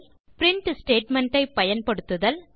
print statement ஐ பயன்படுத்துதல்